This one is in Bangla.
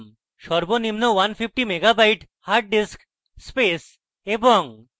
সর্বনিম্ন 150 মেগাবাইট হার্ডডিস্ক space এবং